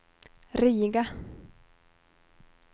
Riga